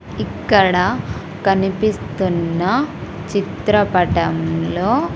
ఇక్కడ కనిపిస్తున్న చిత్రపటంలో--